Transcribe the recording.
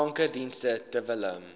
kankerdienste ter wille